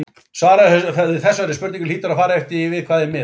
Svarið við þessari spurningu hlýtur að fara eftir því við hvað er miðað.